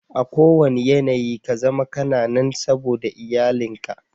A kuwanna yanayi kazama kana nan saboda iyalin ka.